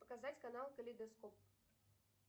показать канал калейдоскоп